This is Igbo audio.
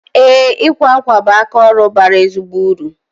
Ee, ịkwa akwa bụ aka ọrụ bara ezigbo uru